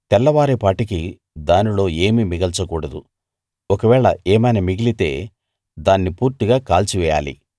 తెల్లవారే పాటికి దానిలో ఏమీ మిగల్చకూడదు ఒకవేళ ఏమైనా మిగిలితే దాన్ని పూర్తిగా కాల్చివెయ్యాలి